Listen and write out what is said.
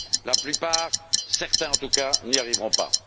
La plupart certains en tout cas n'y arriveront pas.